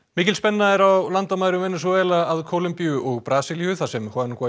mikil spenna er á landamærum Venesúela að Kólumbíu og Brasilíu þar sem